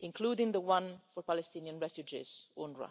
including the one for Palestinian refugees, UNRWA.